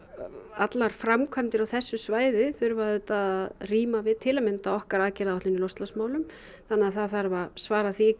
allar framkvæmdir á þessu svæði þurfa auðvitað að ríma við til að mynda okkar aðgerðaáætlun í loftslagsmálum þannig að það þarf að svara því